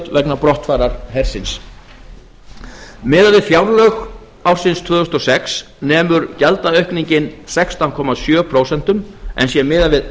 vegna brottfarar hersins miðað við fjárlög ársins tvö þúsund og sex nemur gjaldaaukningin sextán komma sjö prósentum en sé miðað við